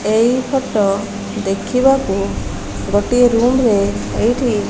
ଏଇ ଫଟ ଦେଖିବାକୁ ଗୋଟିଏ ରୁମ ରେ ଏଇଠି --